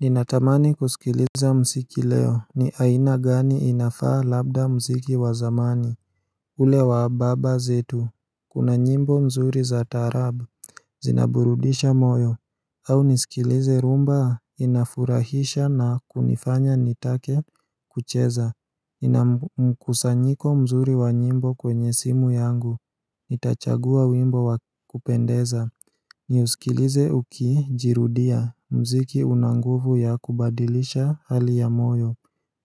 Ninatamani kusikiliza mziki leo ni aina gani inafaa labda mziki wa zamani ule wa baba zetu Kuna nyimbo mzuri za taarabu Zinaburudisha moyo au nisikilize rhumba inafurahisha na kunifanya nitake kucheza nina mkusanyiko mzuri wa nyimbo kwenye simu yangu Nitachagua wimbo wakupendeza Niusikilize uki jirudia mziki una nguvu ya kubadilisha hali ya moyo